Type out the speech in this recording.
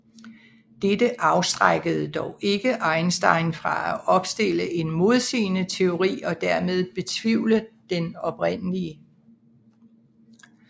Dette afskrækkede dog ikke Einstein fra at opstille en modsigende teori og dermed betvivle den oprindelige